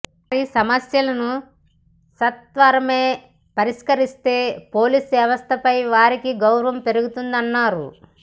వారి సమస్యలను సత్వరమే పరిష్కరిస్తే పోలీసు వ్యవస్థపై వారికి గౌరవం పెరుగుతుందన్నారు